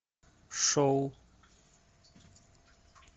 шоу